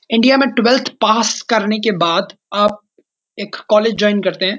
India में twelfth pass करने के बाद आप एक कॉलेज जॉइन करते हैं।